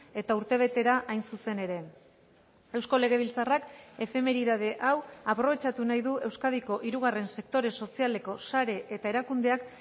eta urtebetera hain zuzen ere eusko legebiltzarrak efemeridade hau aprobetxatu nahi du euskadiko hirugarren sektore sozialeko sare eta erakundeak